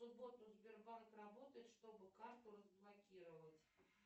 в субботу сбербанк работает чтобы карту разблокировать